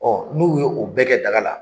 Ɔ n'olu y'o bɛɛ kɛ daga la.